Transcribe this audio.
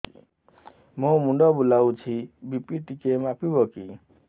ମୋ ମୁଣ୍ଡ ବୁଲାଉଛି ବି.ପି ଟିକିଏ ମାପିବ କି